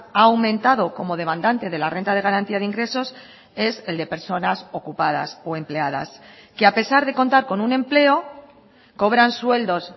ha aumentado como demandante de la renta de garantía de ingresos es el de personas ocupadas o empleadas que a pesar de contar con un empleo cobran sueldos